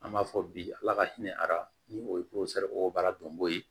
An b'a fɔ bi ala ka hinɛ ara ni o o baara dɔn koyi